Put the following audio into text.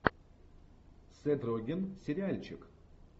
сет роген сериальчик